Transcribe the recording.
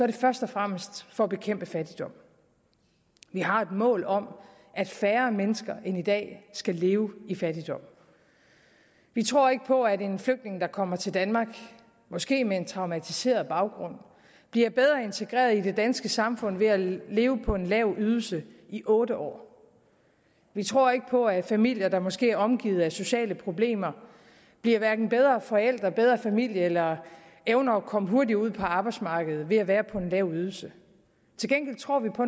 det først og fremmest for at bekæmpe fattigdom vi har et mål om at færre mennesker end i dag skal leve i fattigdom vi tror ikke på at en flygtning der kommer til danmark måske med en traumatiseret baggrund bliver bedre integreret i det danske samfund ved at leve på en lav ydelse i otte år vi tror ikke på at familier der måske er omgivet af sociale problemer bliver hverken bedre forældre eller bedre familie eller evner at komme hurtigere ud på arbejdsmarkedet ved at være på en lav ydelse til gengæld tror vi på